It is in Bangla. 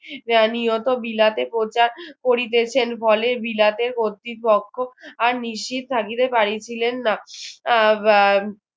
আহ নিয়ত বিলাতে করতে~ করতেছেন হলে বিলাতে কতৃপক্ষ আর নিশ্চিত থাকিতে পারিছিলেন না